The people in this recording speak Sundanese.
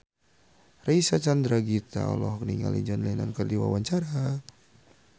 Reysa Chandragitta olohok ningali John Lennon keur diwawancara